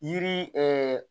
Yiri